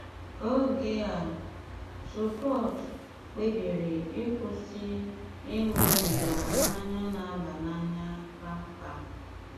Ógé á, Súpót kpébírí íkwụ́sị íṅúbígá mmányá ná-àbá n'ánya kpámkpám.